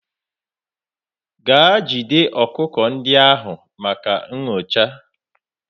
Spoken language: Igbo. Gaa jide ọkụkọ ndị ahụ maka nyocha!.